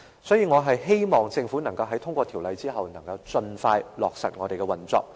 所以，我希望政府在通過《條例草案》後，能夠盡快落實有關條例的運作。